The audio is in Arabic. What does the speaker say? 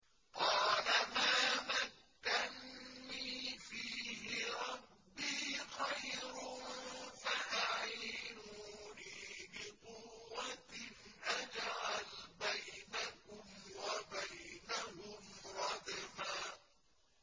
قَالَ مَا مَكَّنِّي فِيهِ رَبِّي خَيْرٌ فَأَعِينُونِي بِقُوَّةٍ أَجْعَلْ بَيْنَكُمْ وَبَيْنَهُمْ رَدْمًا